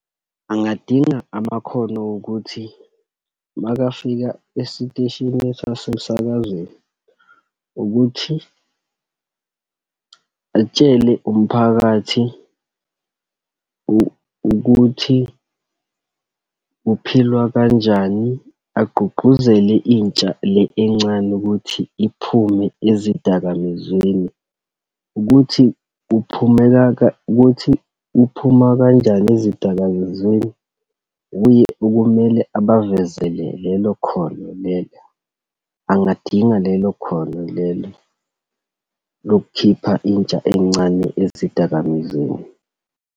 Angadinga amakhono okuthi uma afika esiteshini sasemsakazweni ukuthi, akutshele umphakathi ukuthi kuphilwa kanjani, agqugquzele intsha le encane ukuthi iphume ezidakamizweni, ukuthi kuphumeka, ukuthi kuphumwa kanjani ezidakazizweni wuye okumele abavezele lelo khono lelo. Angadinga lelo khono lelo lokukhipha intsha encane ezidakamizweni.